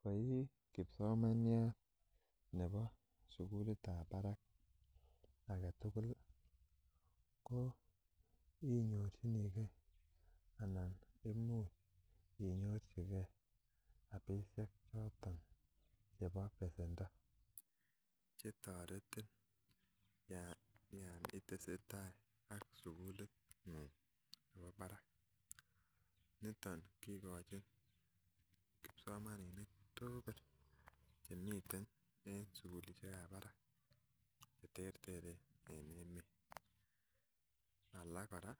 Koi kipsomaniat Nebo sukulit ab Barak agetugul koinyorchinigei anan imuch inyorchigei rabishek choton chebo besendo chetareti yantesetai ak sukulit ngung Nebo Barak niton ikochin kipsomaninik tugul Chemiten en sugulishek ab Barak cheterteren en emet alak koraa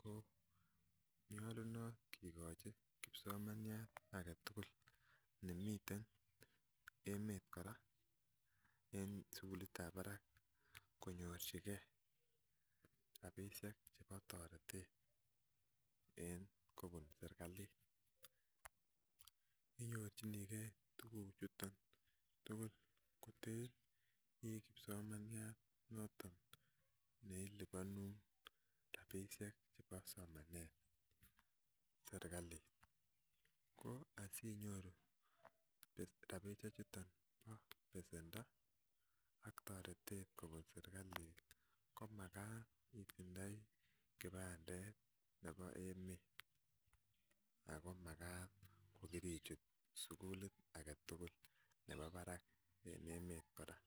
konyalunot kekachi kipsomaniat agetugul nemiten emet koraa en sukulit ab Barak konyorchigei rabishek chebo taretet en kobun serikalit inyorchinigei tuguk chuton tugul koter koikibsomaniat nelubanun rabishek chebo sukul ak somanet serikalit ko asinyoru rabishek chuton Nebo besendo ak taretet kobun serikalit komakat itindoi kibandet Nebo emet ako makat kokirichut sukulit aketugul Nebo Barak en emet koraa